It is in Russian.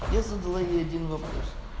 я задала ей один вопрос